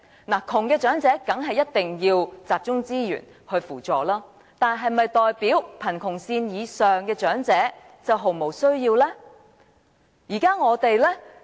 貧窮長者當然一定要集中資源扶助，但是否代表貧窮線以上的長者卻毫無需要呢？